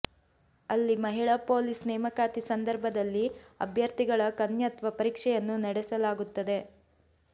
ಅಲ್ಲಿ ಮಹಿಳಾ ಪೊಲೀಸ್ ನೇಮಕಾತಿ ಸಂದರ್ಭದಲ್ಲಿ ಅಭ್ಯರ್ಥಿಗಳ ಕನ್ಯತ್ವ ಪರೀಕ್ಷೆಯನ್ನು ನಡೆಸಲಾಗುತ್ತದೆ